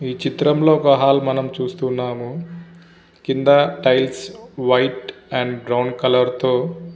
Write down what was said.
ఈ చిత్రంలో ఒక హల్ మనము చూస్తున్నాము. కింద tiles white and brown colour తో--